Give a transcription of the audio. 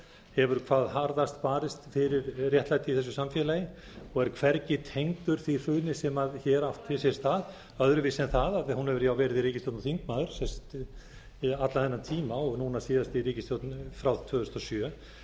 hefur hvað harðast barist fyrir réttlæti í þessu samfélagi og er hvergi tengdur því hruni sem hér átti sér stað öðruvísi en það að hún hefur jú verið í ríkisstjórn og þingmaður allan þennan tíma og núna síðast í ríkisstjórn frá tvö þúsund og sjö